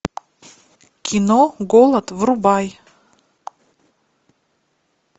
кино голод врубай